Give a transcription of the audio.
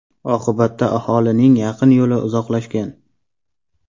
Oqibatda aholining yaqin yo‘li uzoqlashgan.